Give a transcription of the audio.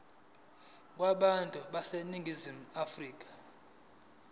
kubantu baseningizimu afrika